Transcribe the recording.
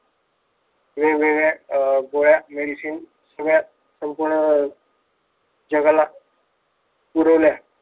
वेगवेगळ्या अं गोळ्या medicine सगळ्या संपूर्ण जगाला पुरवल्या.